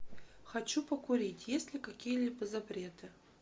хочу покурить есть ли какие либо запреты